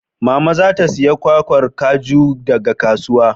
Mama za ta saya kwakwar kaju daga kasuwa.